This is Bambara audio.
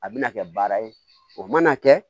A bɛna kɛ baara ye o mana kɛ